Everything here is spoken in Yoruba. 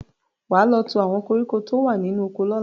Wà á lọ tú àwọn koríko tó wà nínú oko lọ́la!